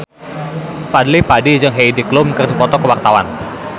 Fadly Padi jeung Heidi Klum keur dipoto ku wartawan